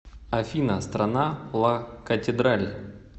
афина страна ла катедраль